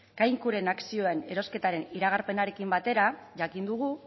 kaikuren akzioen erosketaren iragarpenarekin batera jakin dugu